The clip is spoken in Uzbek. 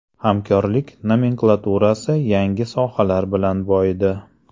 Hamkorlik nomenklaturasi yangi sohalar bilan boyidi.